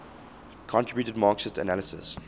contributed marxist analyses